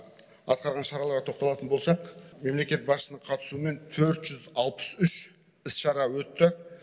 атқарған шараларға тоқталатын болсақ мемлекет басшысының қатысуымен төрт жүз алпыс үш іс шара өтті